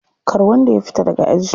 Kar wanda ya fita daga aji.